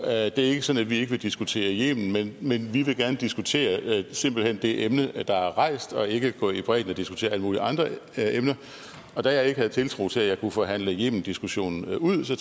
er ikke sådan at vi ikke vil diskutere yemen men men vi vil gerne diskutere simpelt hen det emne der er rejst og ikke gå i bredden og diskutere alle mulige andre emner og da jeg ikke havde tiltro til at jeg kunne forhandle yemendiskussionen ud så